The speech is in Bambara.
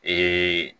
Ee